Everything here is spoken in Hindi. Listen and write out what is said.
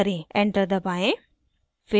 enter दबाएं